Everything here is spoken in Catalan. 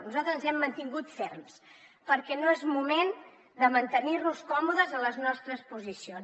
nosaltres ens hem mantingut ferms perquè no és moment de mantenir nos còmodes a les nostres posicions